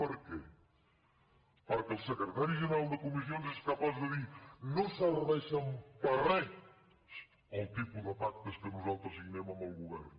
per què perquè el secretari general de comissions és capaç de dir no serveixen per res els tipus de pactes que nosaltres signem amb el govern